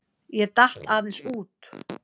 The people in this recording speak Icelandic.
Ég datt aðeins út.